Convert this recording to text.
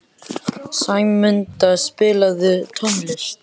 Sæmunda, spilaðu tónlist.